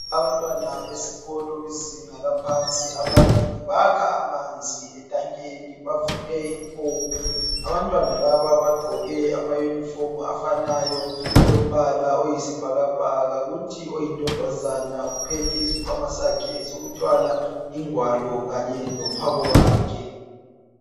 Abantwana besikolo bezinga laphansi ababili bakha amanzi etankeni. Abantwana laba bagqoke amayunifomu afanayo alombala oyisibhakabhaka. Kuthi oyintombazana uphethe isikhwama sakhe sokuthwala ingwalo kanye lomphako wakhe.